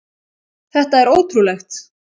Þetta er ótrúlegt!